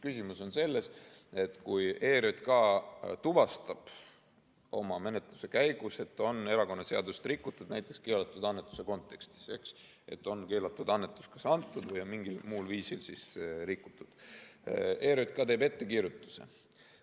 Küsimus on selles, et kui ERJK tuvastab menetluse käigus, et erakonnaseadust on rikutud, näiteks keelatud annetuse kontekstis, et on keelatud annetust antud või mingil muul viisil seadust rikutud, siis ERJK teeb ettekirjutuse.